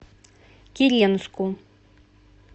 киренску